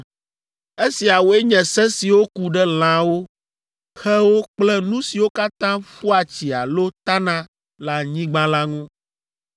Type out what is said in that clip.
“ ‘Esiawoe nye se siwo ku ɖe lãwo, xewo kple nu siwo katã ƒua tsi alo tana le anyigba la ŋu.